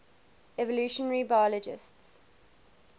evolutionary biologists